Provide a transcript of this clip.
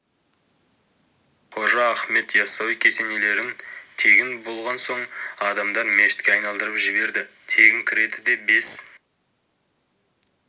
қожа ахмет яссауи кесенелерін тегін болған соң адамдар мешітке айналдырып жіберді тегін кіреді де бес